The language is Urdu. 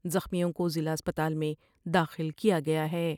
زخمیوں کوضلع اسپتال میں داخل کیا گیا ہیں